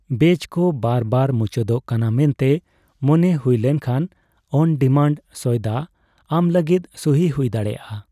ᱵᱮᱪᱠᱚ ᱵᱟᱨᱵᱟᱨ ᱢᱩᱪᱟᱹᱫᱚ ᱠᱟᱱᱟ ᱢᱮᱱᱛᱮ ᱢᱚᱱᱮ ᱦᱩᱭ ᱞᱮᱱᱠᱷᱟᱱ 'ᱚᱱᱼᱰᱤᱢᱟᱱᱴ' ᱥᱚᱭᱫᱟ ᱟᱢᱞᱟᱹᱜᱤᱫ ᱥᱩᱦᱤ ᱦᱩᱭ ᱫᱟᱲᱮᱭᱟᱜᱼᱟ ᱾